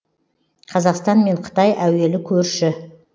қазақстан мен қытай әуелі көрші